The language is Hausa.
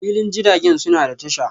filin jiragen suna da tasha.